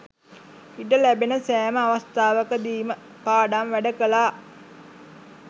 ඉඩ ලැබෙන සෑම අවස්ථාවකදීම පාඩම් වැඩ කළා.